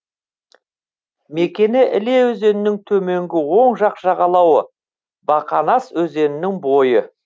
мекені іле өзенінің төменгі оң жақ жағалауы бақанас өзенінің бойы